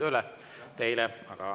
Jõudu tööle teile!